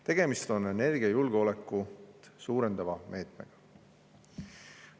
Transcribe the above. Tegemist on energiajulgeolekut suurendava meetmega.